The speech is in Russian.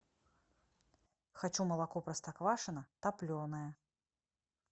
хочу молоко простоквашино топленое